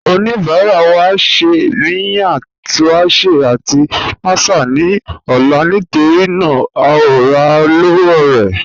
Ọnibara wa n ṣẹ miyan tuásẹ̀ àti màsà ni ọ̀la nítorína à o rà lọ́wọ̀ rẹ̀